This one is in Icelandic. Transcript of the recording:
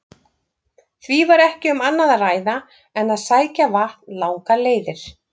Því var ekki um annað að ræða en að sækja vatn langar leiðir.